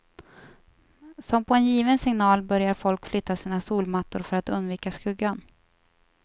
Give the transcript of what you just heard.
Som på en given signal börjar folk flytta sina solmattor för att undvika skuggan.